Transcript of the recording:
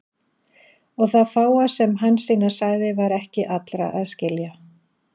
Og það fáa sem Hansína sagði var ekki allra að skilja.